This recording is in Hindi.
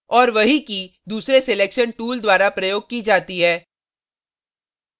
और वही की key दूसरे selection tool द्वारा प्रयोग की जाती है